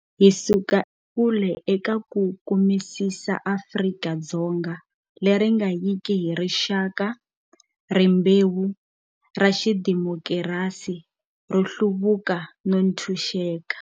Hi suka ekule eka ku kumisisa Afrika-Dzonga leri nga yiki hi rixaka, rimbewu, ra xidimokirasi, ro hluvuka no ntshuxeka.